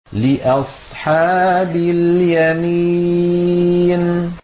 لِّأَصْحَابِ الْيَمِينِ